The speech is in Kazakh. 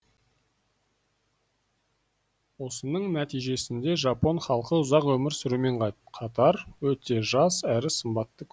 осының нәижесінде жапон халқы ұзақ өмір сүрумен қатар өте жас әрі сымбатты көрінеді